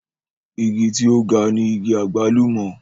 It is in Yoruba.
igi tí ó ga ni igi àgbálùmọ̀